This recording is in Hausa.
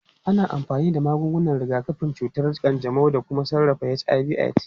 Ana amfani da magungunan rigakafin cutar kanjamau don sarrafa HIV/AIDS.